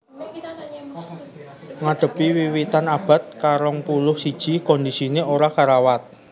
Ngadhepi wiwitan abad karongpuluh siji kondisiné ora karawat